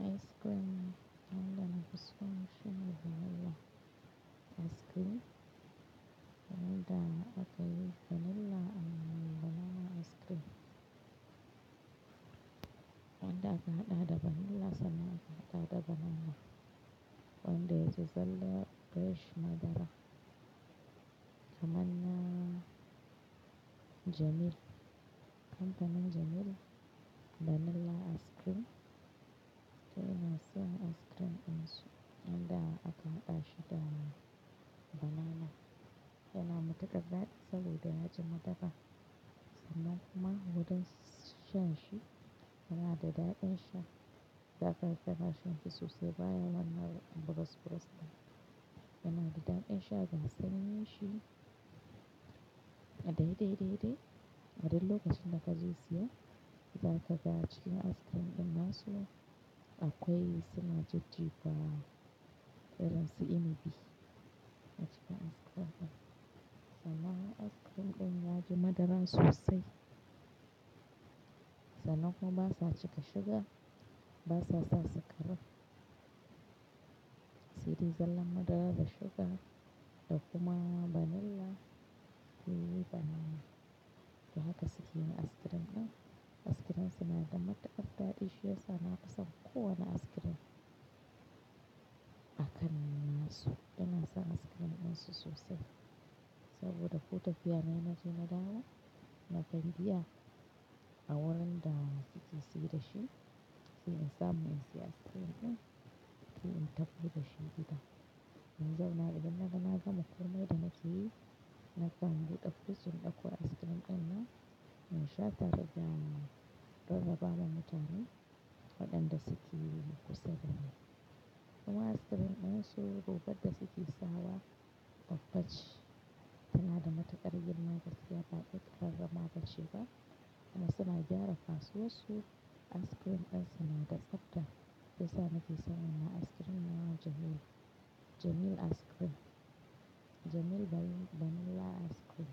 Ice cream wanda na fiso shine vanila ice cream wanda aka yi vanilla amma banana ice cream. Wanda aka haɗa da vanilla sannan aka haɗa da banana. Wanda ya zalla rash madara. Kamanna Jamil. Kamfanin Jamil vanilla ice cream. Sai ina san ice cream ɗin su. Wanda aka haɗa shi da banana. Yana matuƙa daɗi saboda yaji madara. Sannan kuma huɗan shan shi yana dadaɗi in sha. Zaka fita ka sha shi sosai baya lamari a buros-buros nan. Yana dadaɗi in sha ga sanin shi. Daidai dai dai, adon lokacin da ka siyo, za ka ga a cikin ice cream ɗin masu akwai sigar jigawa. RNCMB a cikin ice cream ɗin. Sannan ice cream ɗin yaji madaran sosai. Sannan kuma ba sa cika sugar, ba sa sa sikari. Si di zalla madara da sugar da kuma vanilla. Sai banana, don haka sukeyin ice cream ɗin, ice cream ɗin suna da matuƙar daɗi shi yasa na kusa kowa na ice cream akan masu dinga sa ice cream ɗin su sosai. Saboda kota fiya yana jima dawa na gani biya. A wurin da kike sikida shi, shine samun sikin ice cream ɗin. Sai in tafi da shi gida. Yanzu na idan na ga na gama komi da nake yi, na kan biɗa fursun ɗauko ice cream ɗin nan. In sha ta gida don rarraba ma mutane waɗanda suke kusa da ni. Kuma ice cream ɗin su goɓe da suke sawa babbaci. Suna da matuƙar girma kasuwa baɗi ƙarramawar sugar. Amma suna gyara kasuwarsu. Ice cream ɗin suna da tsabta. Shi yasa nake son wannan ice cream na Jamil. Jamil ice cream. Jamil vanilla ice cream.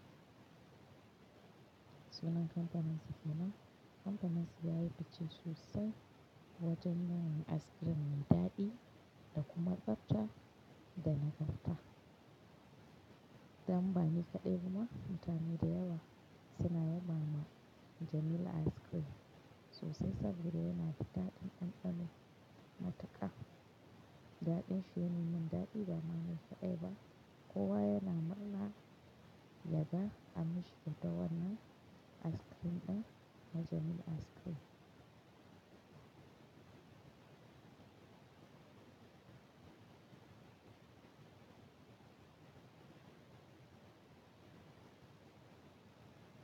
Sunan kamfanin sikina. Kamfanin su yayi fice sosai wajen nan ice cream mai daɗi da kuma tsabta da nagarta. Don bani kaɗai bama mutane da yawa suna yaba ma Jamil ice cream sosai saboda yana da daɗin ɗanɗano matuƙa. Daɗin shi ya nuna daɗi da mamaki kaɗai ba kowa yana murna ya ga amishin kyau ta wanan ice cream ɗin na Jamil ice cream.